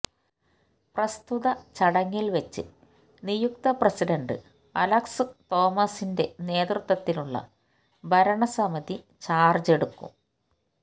പ്രസ്തുത ചടങ്ങില് വച്ച് നിയുക്ത പ്രസിഡന്റ് അലക്സ് തോമസിന്റെ നേതൃത്വത്തിലുള്ള ഭരണസമിതി ചാര്ജ് എടുക്കും